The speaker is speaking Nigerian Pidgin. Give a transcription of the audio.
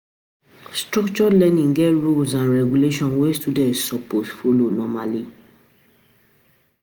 Structured learning get rules and regulations wey students suppose follow